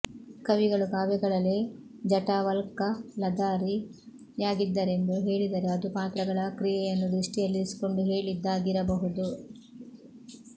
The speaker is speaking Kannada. ಕವಿಗಳು ಕಾವ್ಯಗಳಲ್ಲಿ ಜಟಾವಲ್ಕಲಧಾರಿ ಯಾಗಿದ್ದರೆಂದು ಹೇಳಿದರೆ ಅದು ಪಾತ್ರಗಳ ಕ್ರಿಯೆಯನ್ನು ದೃಷ್ಟಿಯಲ್ಲಿರಿಸಿಕೊಂಡು ಹೇಳಿದ್ದಾ ಗಿರಬಹುದು